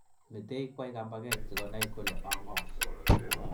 Metei kwai kambaket sikonai kole ang'o.